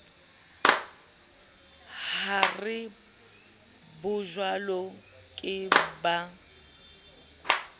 ho re bajwalo ke ba